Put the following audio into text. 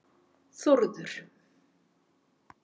Þórður